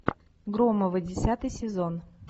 громовы десятый сезон